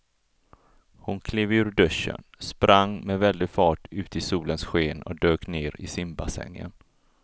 Hon klev ur duschen, sprang med väldig fart ut i solens sken och dök ner i simbassängen.